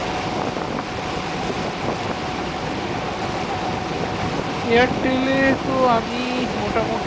airtel এ তো আমি মোটামুটি